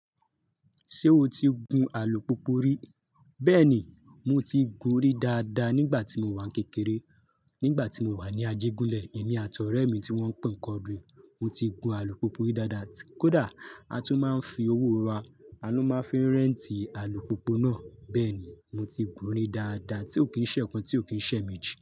Ṣé o ti gun alùpùpù rí? Bẹ́ẹ̀ ni, mo ti gun rí dáadáa nígbà tí mo wà n kékeré. Nígbà tí mo wà ní ajégúnlẹ̀, èmi àti ọ̀rẹ́ mi tí wọ́n ń pè ni kọdri, mo ti gun alùpùpù rí dáadáa. Kódà a tún máa ń fi owó wa, a ló máa ń fi rẹ́ǹtì alùpùpù náà. Bẹ́ẹ̀ ni, mo ti gun rí dáadáa tí ò kí ń ṣẹ́ ẹ̀ẹ̀kan tí ò kí ń ṣẹ́méjì.